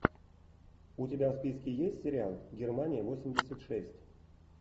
у тебя в списке есть сериал германия восемьдесят шесть